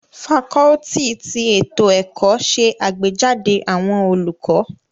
Fakọluti ti eto ẹkọ ṣe agbejade awọn olukọ